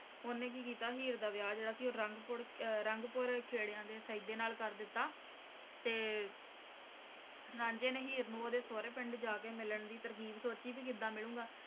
ਓਹਨੇ ਕਿ ਕੀਤਾ ਹੀਰ ਦਾ ਵਿਆਹ ਜਿਹੜਾ ਸੀ ਉਹ ਰੰਗਪੁਰ ਖੇਡਾਂ ਦੇ ਸੈਦੇ ਨਾਲ ਕਰ ਦਿੱਤਾ ਤੇ ਰਾਂਝੇ ਨੇ ਹੀਰ ਨੂੰ ਓਹਦੇ ਸੋਹਰੇ ਪਿੰਡ ਜਾ ਕੇ ਮਿਲਣ ਦੀ ਤਰਕੀਬ ਸੋਚੀ ਵੀ ਕਿਵੇਂ ਮਿਲੂੰਗਾ